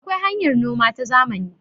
akwai hanyar noma ta zamani